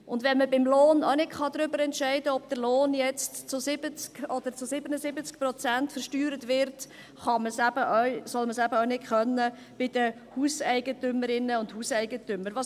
Und wenn man beim Lohn auch nicht darüber entscheiden kann, ob der Lohn zu 70 oder zu 77 Prozent versteuert wird, soll man es eben auch bei den Hauseigentümerinnen und Hauseigentümern nicht tun können.